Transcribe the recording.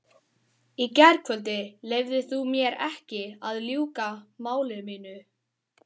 Í gærkvöldi leyfðir þú mér ekki að ljúka máli mínu.